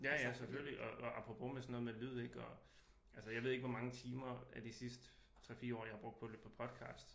Ja ja selvfølgelig og apropos med sådan noget med lyd ik og altså jeg ved ikke hvor mange timer af de sidste 3 4 år jeg har brugt på at lytte på podcast